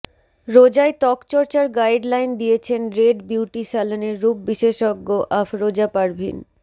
রোজায় ত্বকচর্চার গাইডলাইন দিয়েছেন রেড বিউটি স্যালনের রূপবিশেষজ্ঞ আফরোজা পারভিন